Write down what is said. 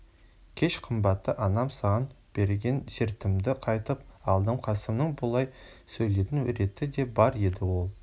кеш қымбатты анам саған берген сертімді қайтып алдым қасымның бұлай сөйлейтін реті де бар еді ол